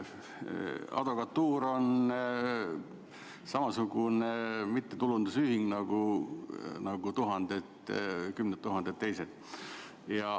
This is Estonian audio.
Advokatuur on samasugune mittetulundusühing nagu tuhanded, kümned tuhanded teised.